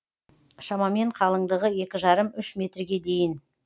шамамен қалыңдығы екі жарым үш метрге дейін